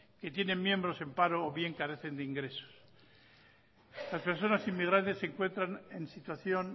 que tienen miembros en paro o bien carecen de ingresos las personas inmigrantes se encuentran en situación